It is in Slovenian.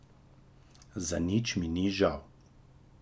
Za nič mi ni žal.